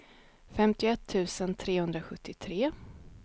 femtioett tusen trehundrasjuttiotre